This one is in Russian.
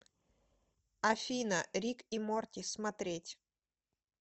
афина рик и морти смотреть